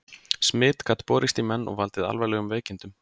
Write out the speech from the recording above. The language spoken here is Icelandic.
Smit gat borist í menn og valdið alvarlegum veikindum.